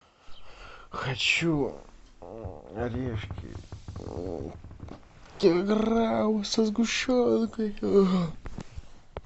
хочу орешки килограмм со сгущенкой